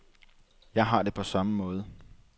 Jeg har det på samme måde.